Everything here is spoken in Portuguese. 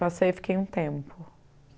Passei e fiquei um tempo.